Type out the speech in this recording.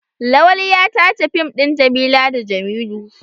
Lawali ya tace fim ɗin Jamila da Jamilu.